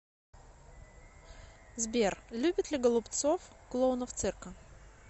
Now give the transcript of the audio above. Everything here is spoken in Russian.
сбер любит ли голубцов клоунов цирка